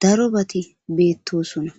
darobati betosona.